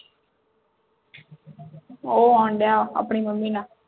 ਉਹ ਆਉਂਡਆਂ ਆਪਣੀ mummy ਨਾਲ